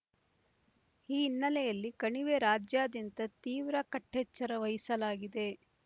ಈ ಹಿನ್ನೆಲೆಯಲ್ಲಿ ಕಣಿವೆ ರಾಜ್ಯಾದ್ಯಂತ ತೀವ್ರ ಕಟ್ಟೆಚ್ಚರ ವಹಿಸಲಾಗಿದೆ